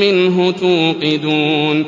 مِّنْهُ تُوقِدُونَ